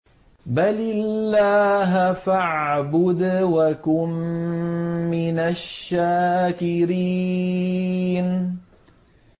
بَلِ اللَّهَ فَاعْبُدْ وَكُن مِّنَ الشَّاكِرِينَ